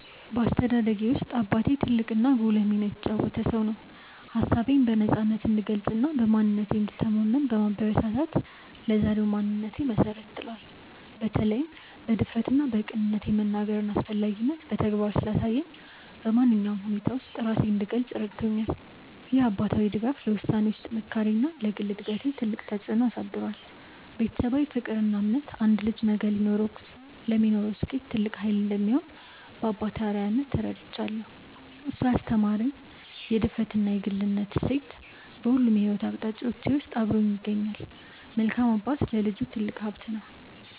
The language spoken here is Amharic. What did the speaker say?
በአስተዳደጌ ውስጥ አባቴ ትልቅና ጉልህ ሚና የተጫወተ ሰው ነው። ሀሳቤን በነፃነት እንድገልጽና በማንነቴ እንድተማመን በማበረታታት ለዛሬው ማንነቴ መሰረት ጥሏል። በተለይም በድፍረትና በቅንነት የመናገርን አስፈላጊነት በተግባር ስላሳየኝ፣ በማንኛውም ሁኔታ ውስጥ ራሴን እንድገልጽ ረድቶኛል። ይህ አባታዊ ድጋፍ ለውሳኔዎቼ ጥንካሬና ለግል እድገቴ ትልቅ ተጽዕኖ አሳድሯል። ቤተሰባዊ ፍቅርና እምነት አንድ ልጅ ነገ ለሚኖረው ስኬት ትልቅ ኃይል እንደሚሆን በአባቴ አርአያነት ተረድቻለሁ። እሱ ያስተማረኝ የድፍረትና የግልነት እሴት በሁሉም የሕይወት አቅጣጫዎቼ ውስጥ አብሮኝ ይገኛል። መልካም አባት ለልጁ ትልቅ ሀብት ነው።